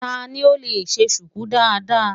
Ta ni ó lè ṣe ṣùkú dáadáa?